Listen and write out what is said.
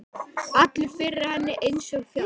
Allur yfir henni einsog fjall.